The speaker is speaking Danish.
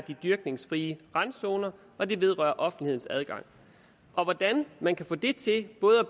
de dyrkningsfrie randzoner og det vedrører offentlighedens adgang og hvordan man både kan få det til at